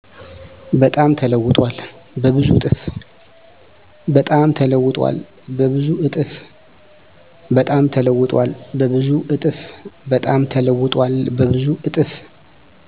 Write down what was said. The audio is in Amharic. በጣም ተለውጧል በብዙ እጥፍ